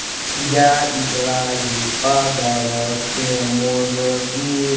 я играю по дорожке может и